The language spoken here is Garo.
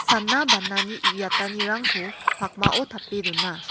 sana banani uiatanirangko pakmao tape dona.